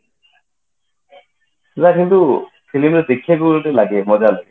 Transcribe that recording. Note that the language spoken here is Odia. ଯା କିନ୍ତୁ film ଗୁରା ଦେଖିବାକୁ ବହୁତ ଲାଗେ ମଜା ଲାଗେ